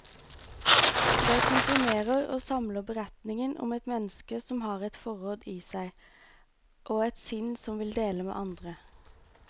Det komprimerer og samler beretningen om et menneske som har et forråd i seg, og et sinn som vil dele med andre.